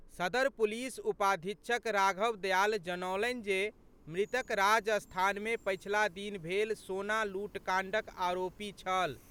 सदर पुलिस उपाधीक्षक राघव दयाल जनौलनि जे मृतक राजस्थान मे पछिला दिन भेल सोना लूटकांडक आरोपी छल।